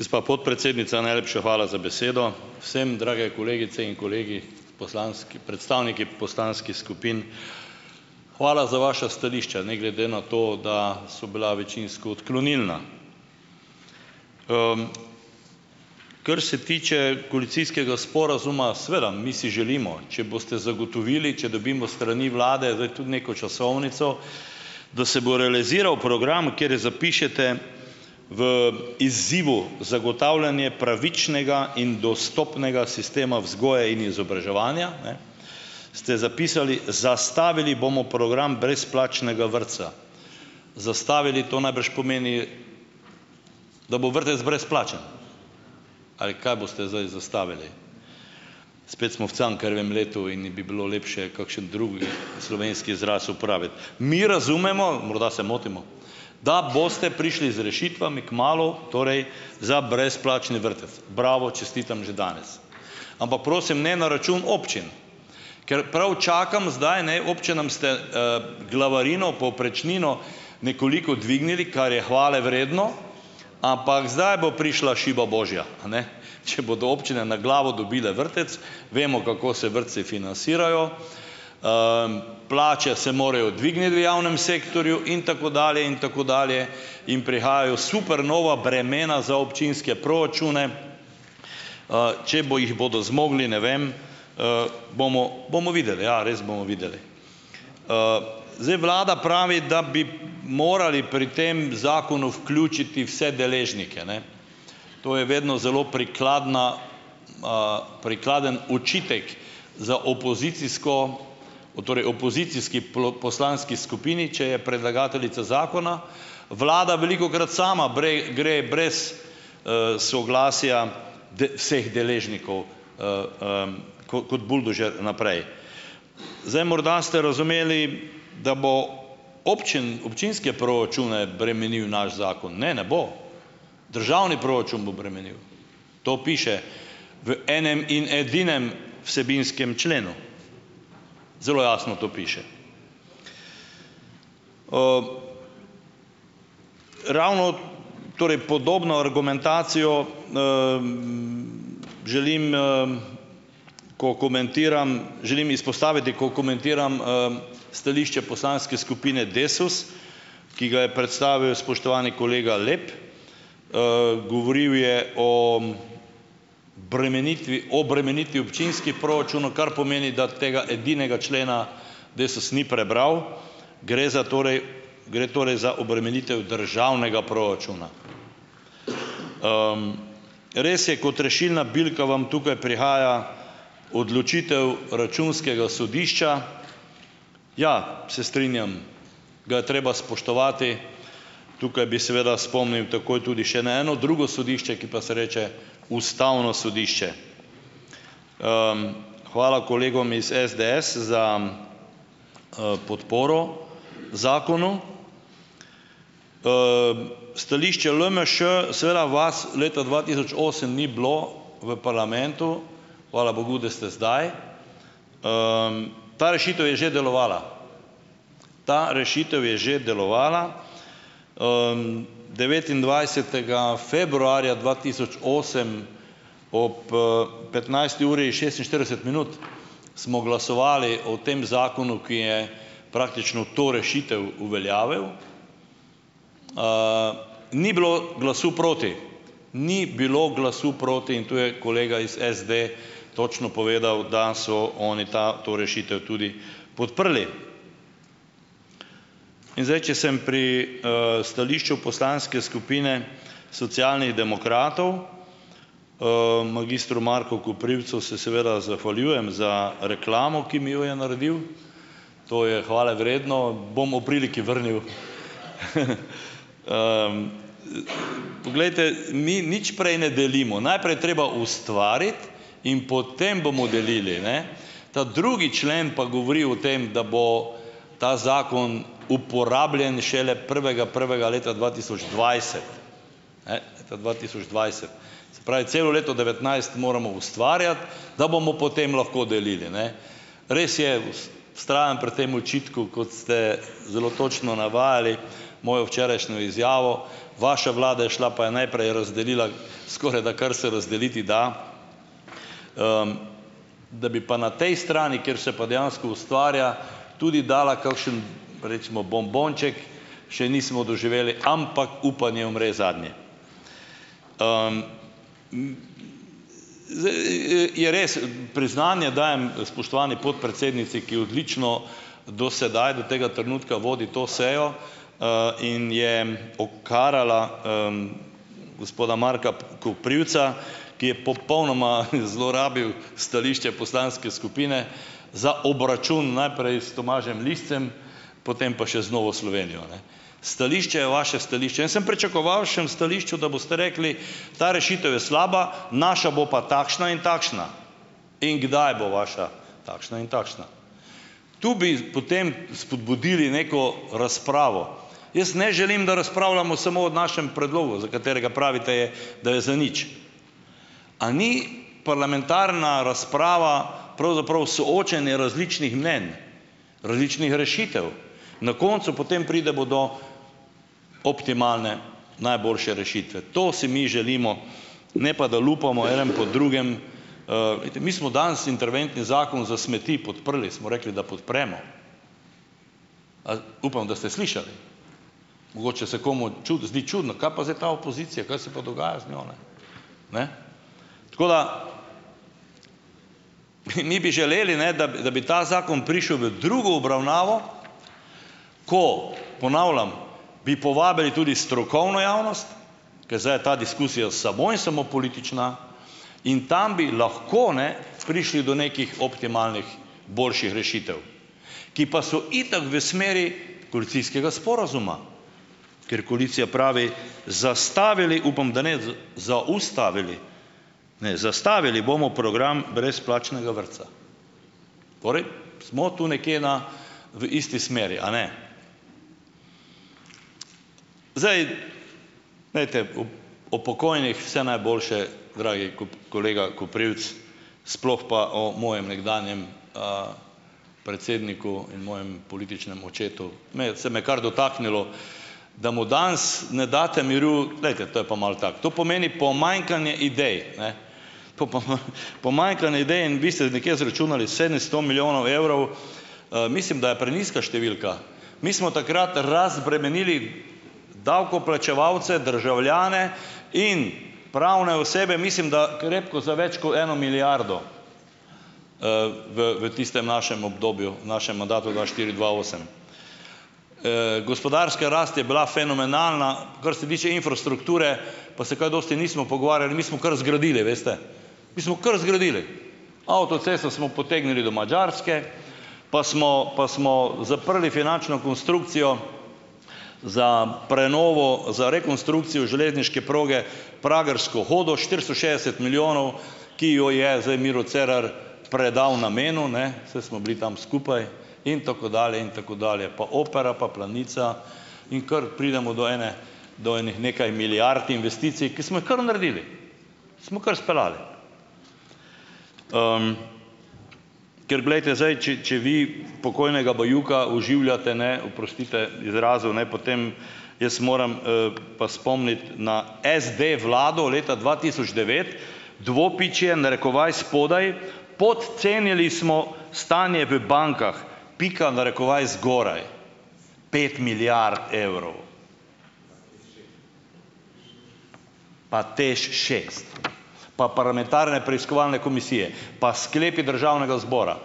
Gospa podpredsednica, najlepša hvala za besedo. Vsem drage kolegice in kolegi, poslanski, predstavniki poslanskih skupin! Hvala za vaša stališča, ne glede na to, da so bila večinsko odklonilna. Kar se tiče koalicijskega sporazuma, seveda mi si želimo, če boste zagotovili, če dobimo s strani vlade zdaj tudi neko časovnico, da se bo realiziral program, kjer zapišete v izzivu zagotavljanje pravičnega in dostopnega sistema vzgoje in izobraževanja, ne, ste zapisali, zastavili bomo program brezplačnega vrtca. Zastavili, to najbrž pomeni, da bo vrtec brezplačen, ali kaj boste zdaj zastavili. Spet smo v Cankarjevem letu in in bi bilo lepše, kakšen drugi slovenski izraz uporabiti. Mi razumemo, morda se motimo, da boste prišli z rešitvami kmalu, torej za brezplačni vrtec. Bravo, čestitam že danes. Ampak prosim, ne na račun občin, ker prav čakam zdaj, ne, občinam ste glavarino, povprečnino nekoliko dvignili, kar je hvalevredno, ampak zdaj bo prišla šiba božja, a ne, če bodo občine na glavo dobile vrtec, vemo, kako se vrtci finacirajo, plače se morajo dvigniti v javnem sektorju, in tako dalje, in tako dalje in prihajajo super nova bremena za občinske proračune, če bo jih bodo zmogli. Ne vem. Bomo, bomo videli, ja, res bomo videli. Zdaj ... Vlada pravi, da bi morali pri tem zakonu vključiti vse deležnike, ne. To je vedno zelo prikladna, prikladen očitek za opozicijsko, o, torej opozicijski poslanski skupini, če je predlagateljica zakona, vlada velikokrat sama brej, gre brez soglasja d, vseh deležnikov ko, kot buldožer naprej. Zdaj, morda ste razumeli, da bo občin, občinske proračune bremenil naš zakon. Ne, ne bo. Državni proračun bo bremenil. To piše v enem in edinem vsebinskem členu. Zelo jasno to piše Ravno torej podobno argumentacijo želim, ko komentiram, želim izpostaviti, ko komentiram stališče Poslanske skupine Desus, ki ga je predstavil spoštovani kolega Lep. Govoril je o bremenitvi, obremenitvi občinskih proračunov, kar pomeni, da tega edinega člena DESUS ni prebral. Gre za torej, gre torej za obremenitev državnega proračuna. Res je, kot rešilna bilka vam tukaj prihaja odločitev Računskega sodišča. Ja, se strinjam, ga je treba spoštovati. Tukaj bi seveda spomnil takoj tudi še na eno drugo sodišče, ki pa se reče Ustavno sodišče. Hvala kolegom iz SDS za podporo zakonu. Stališče LMŠ, seveda vas leta dva tisoč osem ni bilo v parlamentu, hvala Bogu, da ste zdaj. Ta rešitev je že delovala, ta rešitev je že delovala. Devetindvajsetega februarja dva tisoč osem ob petnajsti uri, šestinštirideset minut smo glasovali o tem zakonu, ki je praktično to rešitev uveljavil. Ni bilo glasu proti, ni bilo glasu proti in tu je kolega iz SD točno povedal, da so oni ta, to rešitev tudi podprli. In zdaj če sem pri stališču Poslanske skupine Socialnih demokratov, magistru Marku Koprivcu se seveda zahvaljujem za reklamo, ki mi jo je naredil, to je hvalevredno, bom ob priliki vrnil. Poglejte, mi nič prej ne delimo. Najprej je treba ustvariti in potem bomo delili, ne? Ta drugi člen pa govori o tem, da bo ta zakon uporabljen šele prvega prvega leta dva tisoč dvajset. Ne? Leta dva tisoč dvajset Se pravi, celo leto devetnajst moramo ustvarjati, da bomo potem lahko delili, ne. Res je, vztrajam pri tem očitku, kot ste zelo točno navajali mojo včerajšnjo izjavo, vaša vlada je šla, pa je najprej razdelila skorajda, kar se razdeliti da, da bi pa na tej strani, kjer se pa dejansko ustvarja, tudi dala kakšen, recimo bombonček, še nismo doživeli, ampak upanje umre zadnje. Je res, priznanje dajem spoštovani podpredsednici, ki odlično, do sedaj, do tega trenutka vodi to sejo in je okarala gospoda Marka p, Koprivca, ki je popolnoma zlorabil stališče poslanske skupine za obračun, najprej s Tomažem Liscem, potem pa še z Novo Slovenijo, ne. Stališče je vaše stališče. Jaz sem pričakoval šm stališču, da boste rekli, ta rešitev je slaba, naša bo pa takšna in takšna, in kdaj bo vaša takšna in takšna. Tu bi potem spodbudili neko razpravo. Jaz ne želim, da razpravljamo samo od našem predlogu, za katerega pravite je, da je zanič. A ni parlamentarna razprava pravzaprav soočenje različnih mnenj, različnih rešitev? Na koncu potem pridemo do optimalne, najboljše rešitve. To si mi želimo, ne pa da lupamo eden po drugem. Glejte, mi smo danes interventni zakon za smeti podprli, smo rekli, da podpremo. Ali ... Upam, da ste slišali. Mogoče se komu čudi, zdi čudno, kaj pa zdaj ta opozicija, kaj se pa dogaja z njo, ne? Ne? Tako da, pi mi bi želeli, ne, da bi, da bi ta zakon prišel v drugo obravnavo, ko, ponavljam, bi povabili tudi strokovno javnost, ker zdaj je ta diskusija samo in samo politična, in tam bi lahko, ne, prišli do nekih optimalnih, boljših rešitev, ki pa so itak v smeri koalicijskega sporazuma, ker koalicija pravi, zastavili - upam, da ne - zaustavili, ne, zastavili bomo program brezplačnega vrtca. Torej smo tu nekje na v isti smeri, a ne? Zdaj ... Glejte, op, upokojenih vse najboljše, dragi kolega Koprivc, sploh pa o mojem nekdanjem predsedniku in mojem političnem očetu, mi, se me je kar dotaknilo, da mu danes ne date miru. Glejte, to je pa malo tako. To pomeni pomanjkanje idej, ne? Pol pa m, pomanjkanje idej. In vi ste nekje izračunali sedemsto milijonov evrov. Mislim, da je prenizka številka. Mi smo takrat razbremenili davkoplačevalce, državljane in pravne osebe, mislim da, krepko za več kot eno milijardo v, v tistem našem obdobju, našem mandatu dva štiri, dva osem. Gospodarska rast je bila fenomenalna. Kar se tiče infrastrukture, pa se kaj dosti nismo pogovarjali. Mi smo kar zgradili, veste, mi smo kar zgradili. Avtocesto smo potegnili do Madžarske, pa smo, pa smo zaprli finančno konstrukcijo za prenovo, za rekonstrukcijo železniške proge Pragersko-Hodoš štiristo šestdeset milijonov, ki jo je zdaj Miro Cerar predal namenu, ne, saj smo bili tam skupaj in tako dalje in tako dalje, pa opera, pa Planica, in kar pridemo do ene do enih nekaj milijard investicij, ki smo jih kar naredili, smo kar speljali. Ker glejte, zdaj če, če vi pokojnega Bajuka oživljate, ne, oprostite izrazu, ne, potem jaz moram pa spomniti na SD vlado leta dva tisoč devet. Dvopičje, narekovaj spodaj: "Podcenili smo stanje v bankah." Pika, narekovaj zgoraj. Pet milijard evrov. Pa TEŠ šest, pa parlamentarne preiskovalne komisije, pa sklepi državnega zbora,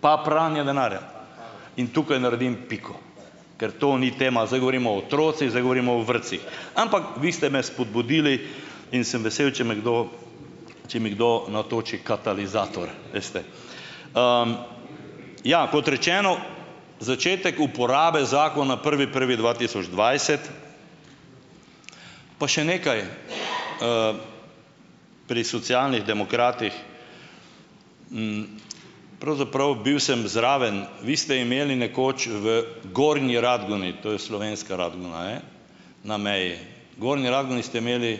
pa pranje denarja. In tukaj naredim piko, ker to ni tema. Zdaj govorimo o otrocih, zdaj govorimo o vrtcih. Ampak vi ste me spodbudili in sem vesel, če me kdo, če mi kdo natoči katalizator, veste. Ja, kot rečeno, začetek uporabe zakona prvi prvi dva tisoč dvajset. Pa še nekaj. Pri socialnih demokratih, pravzaprav bil sem zraven, vi ste imeli nekoč v Gornji Radgoni, to je slovenska Radgona, ne, na meji, v Gornji Radgoni ste imeli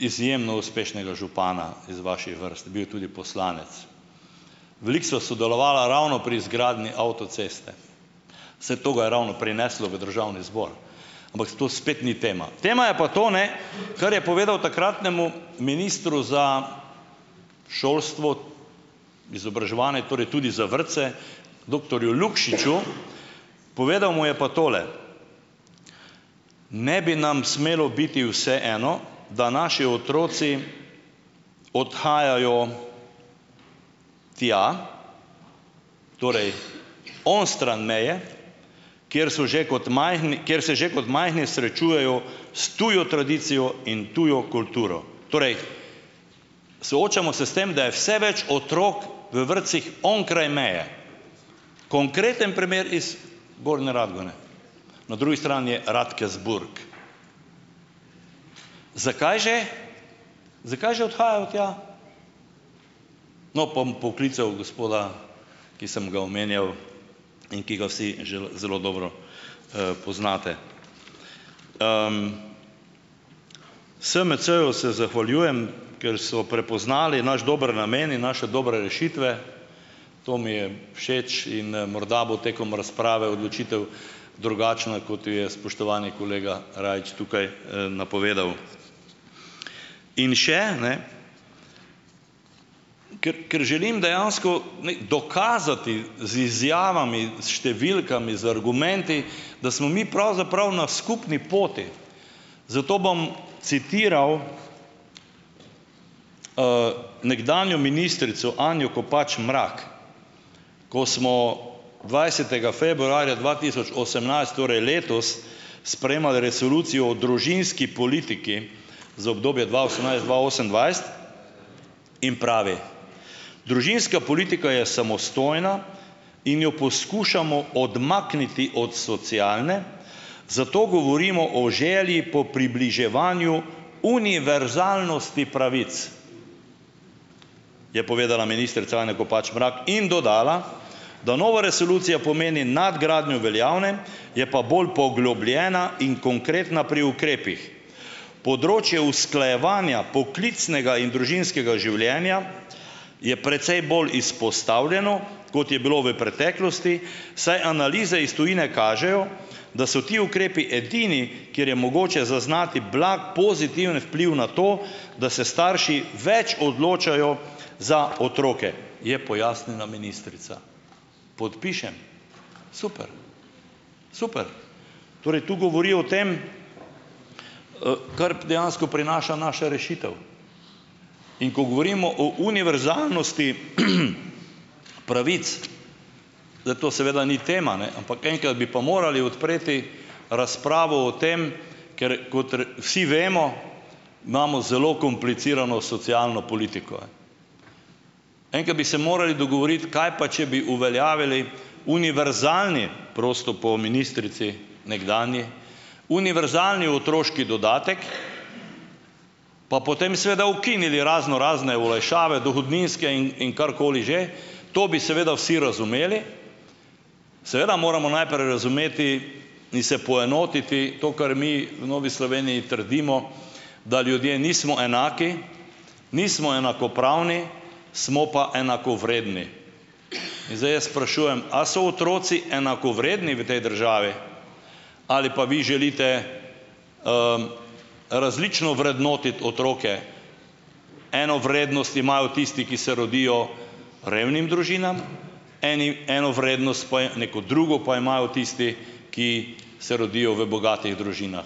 izjemno uspešnega župana iz vaših vrst, bil je tudi poslanec. Veliko sva sodelovala ravno pri izgradnji avtoceste. Saj to ga je ravno prineslo v državni zbor, ampak s to spet ni tema. Tema je pa to, ne, kar je povedal takratnemu ministru za šolstvo, izobraževanje, torej tudi za vrtce, doktorju Lukšiču, povedal mu je pa tole: "Ne bi nam smelo biti vseeno, da naši otroci odhajajo tja, torej onstran meje, kjer so že kot majhni, kjer se že kot majhni srečujejo s tujo tradicijo in tujo kulturo." Torej soočamo se s tem, da je vse več otrok v vrtcih onkraj meje. Konkreten primer iz Gorne Radgone. Na drugi strani je Radkersburg. Zakaj že? Zakaj že odhajajo tja? No, bom poklical gospoda, ki sem ga omenjal in ki ga vsi zelo zelo dobro poznate. SMC-ju se zahvaljujem, ker so prepoznali naš dober namen in naše dobre rešitve, to mi je všeč, in morda bo tekom razprave odločitev drugačna, kot jo je spoštovani kolega Rajić tukaj napovedal. In še, ne, ker, ker želim dejansko, ne, dokazati z izjavami, s številkami, z argumenti, da smo mi pravzaprav na skupni poti, zato bom citiral nekdanjo ministrico Anjo Kopač Mrak, ko smo dvajsetega februarja dva tisoč osemnajst, torej letos, sprejemali resolucijo o družinski politiki za obdobje dva osemnajst-dva osemindvajset, in pravi: "Družinska politika je samostojna in jo poskušamo odmakniti od socialne, zato govorimo o želji po približevanju univerzalnosti pravic", je povedala ministrica Anja Kopač Mrak in dodala, "da nova resolucija pomeni nadgradnjo veljavne, je pa bolj poglobljena in konkretna pri ukrepih. Področje usklajevanja poklicnega in družinskega življenja je precej bolj izpostavljeno, kot je bilo v preteklosti, saj analize iz tujine kažejo, da so ti ukrepi edini, kjer je mogoče zaznati blag pozitiven vpliv na to, da se starši več odločajo za otroke", je pojasnila ministrica. Podpišem. Super, super. Torej, tu govori o tem, kar dejansko prinaša naša rešitev. In ko govorimo o univerzalnosti pravic, zdaj to seveda ni tema, ne, ampak enkrat bi pa morali odpreti razpravo o tem, ker kot re, vsi vemo, imamo zelo komplicirano socialno politiko. Enkrat bi se morali dogovoriti, kaj pa če bi uveljavili univerzalni, prosto po ministrici nekdanji, univerzalni otroški dodatek, pa potem seveda ukinili raznorazne olajšave dohodninske in, in karkoli že, to bi seveda vsi razumeli. Seveda moramo najprej razumeti in se poenotiti, to, kar mi v Novi Sloveniji trdimo, da ljudje nismo enaki, nismo enakopravni, smo pa enakovredni. In zdaj jaz sprašujem, a so otroci enakovredni v tej državi ali pa vi želite različno vrednotiti otroke, eno vrednost imajo tisti, ki se rodijo revnim družinam, eni, eno vrednost, po e, neko drugo, pa imajo tisti, ki se rodijo v bogatih družinah.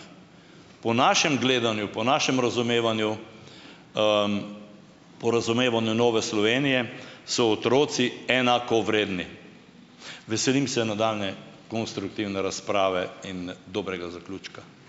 Po našem gledanju, po našem razumevanju, po razumevanju Nove Slovenije so otroci enakovredni. Veselim se nadaljnje konstruktivne razprave in dobrega zaključka.